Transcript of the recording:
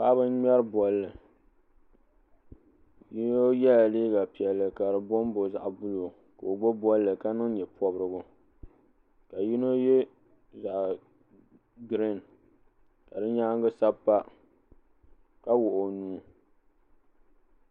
paɣaba n ŋmɛri bolli yino yɛla liiga piɛlli ka di bombom zaɣi giriin ka o gbubi bolli ka niŋ nyɛpobirigu ka yɛ zaɣi giriin ka di nyaanga sapa ka wuɣi o nuu